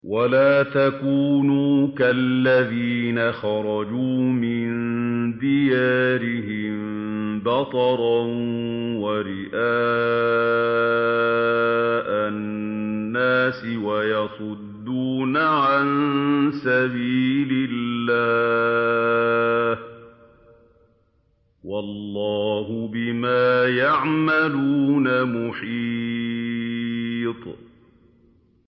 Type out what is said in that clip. وَلَا تَكُونُوا كَالَّذِينَ خَرَجُوا مِن دِيَارِهِم بَطَرًا وَرِئَاءَ النَّاسِ وَيَصُدُّونَ عَن سَبِيلِ اللَّهِ ۚ وَاللَّهُ بِمَا يَعْمَلُونَ مُحِيطٌ